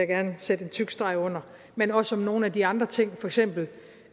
gerne sætte en tyk streg under men også om nogle af de andre ting for eksempel